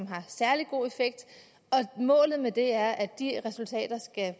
har særlig god effekt og målet med det er at de resultater skal